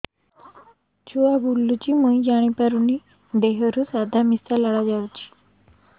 ଛୁଆ ବୁଲୁଚି ମୁଇ ଜାଣିପାରୁନି ଦେହରୁ ସାଧା ଲାଳ ମିଶା ଯାଉଚି